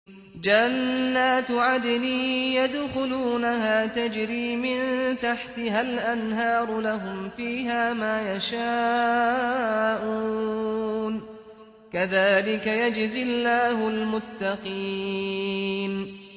جَنَّاتُ عَدْنٍ يَدْخُلُونَهَا تَجْرِي مِن تَحْتِهَا الْأَنْهَارُ ۖ لَهُمْ فِيهَا مَا يَشَاءُونَ ۚ كَذَٰلِكَ يَجْزِي اللَّهُ الْمُتَّقِينَ